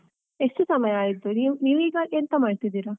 ಎಷ್ಟು ಸಮಯ ಆಯ್ತು? ನೀವಿವಾಗ ಎಂತ ಮಾಡ್ತಾ ಇದ್ದೀರಾ?